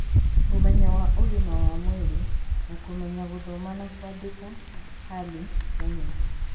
Ũmenyo wa Ũgima wa Mwĩrĩ na Kũmenya Gũthoma na Kwandĩka (HALI) Kenya